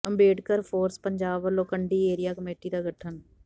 Ambedkar force Punjab ਵਲੋਂ Kandi area committee ਦਾ ਗਠਨ